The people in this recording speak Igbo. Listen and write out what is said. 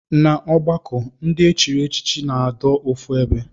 Na ọgbọkọ ndi echi na adọ ofu ebe.